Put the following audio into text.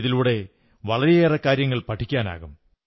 ഇതിലൂടെ വളരെയേറെ കാര്യങ്ങൾ പഠിക്കാനാകും